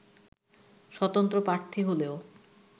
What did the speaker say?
স্বতন্ত্র প্রার্থী হলেও